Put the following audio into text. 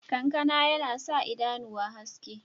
Ƙankan yana sa idanuwa haske.